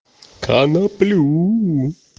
коноплю